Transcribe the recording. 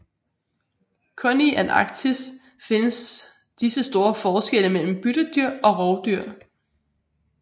Kun i Antarktis findes disse store forskelle mellem byttedyr og rovdyr